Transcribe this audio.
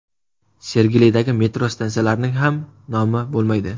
Sergelidagi metro stansiyalarining ham nomi bo‘lmaydi.